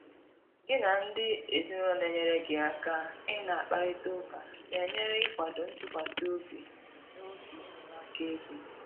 gị na ndị ezinụlọ na enyere gị aka ị na akparita ụka na enyere ikwado ntụkwasị obi n'oge enyemaka ego